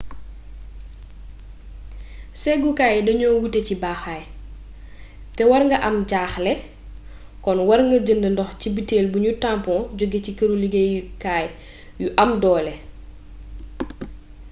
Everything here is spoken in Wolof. séggukaay yi dañoo wuute ci baaxaay té war nga am jaaxle kon war nga jënd ndox ci butel buñu tampoŋ joggé ci këru liggéey kay yu am doole